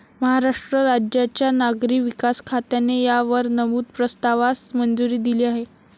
महाराष्ट्र राज्याच्या नागरी विकास खात्याने या वर नमूद प्रस्तावास मंजुरी दिली आहे.